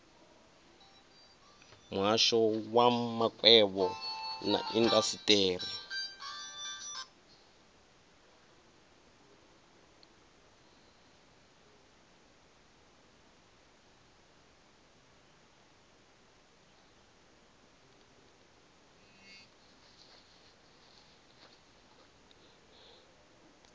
muhasho wa makwevho na indasiteri